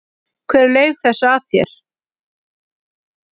Hver laug þessu að þér?